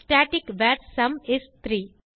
static var sum is 3